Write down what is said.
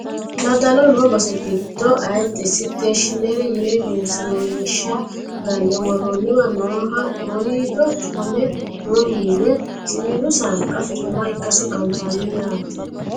daddloho noo base giddo ayiidde steshiinere yine egenshiishsha ganne worroonniwa nooha woriido cufame noo mine siwiilu saanqa afirinoha ikkasi anfanni yaate